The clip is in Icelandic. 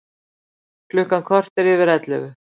Klukkan korter yfir ellefu